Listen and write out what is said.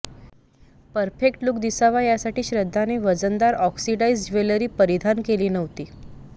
perfect look दिसावा यासाठी श्रद्धाने वजनदार ऑक्सिडाइझ्ड ज्वेलरी परिधान केली नव्हती